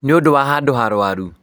Nĩũndũ wa handũ harwaru